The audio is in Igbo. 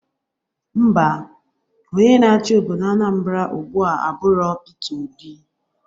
Ḿbà, onye na-achị obodo Anambra ugbua aburọ Pita Obi